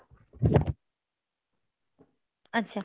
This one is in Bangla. আচ্ছা